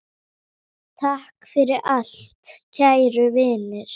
Takk fyrir allt, kæru vinir!